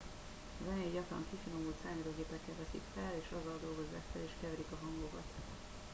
a zenét gyakran kifinomult számítógépekkel veszik fel és azzal dolgozzák fel és keverik a hangokat